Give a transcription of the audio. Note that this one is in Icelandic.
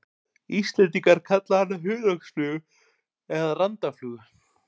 Íslendingar kalla hana hunangsflugu eða randaflugu.